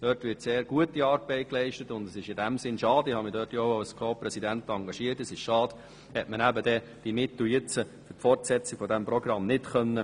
Dort wird sehr gute Arbeit geleistet, und es ist in diesem Sinn schade – ich habe mich dort als Ko-Präsident engagiert –, hat man die Mittel für die Fortsetzung dieses Programms nicht sprechen können.